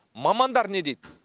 мамандар не дейді